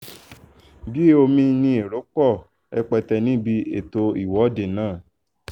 bíi omi lérò pọ̀ rẹpẹtẹ níbi ètò ìwọ́de náà